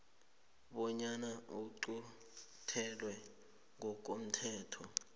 bonyana iquntelwe ngokomthetho